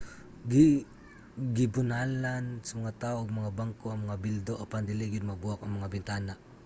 gubanalan sa mga tawo og mga bangko ang mga bildo apan dili gyud mabuak ang mga bintana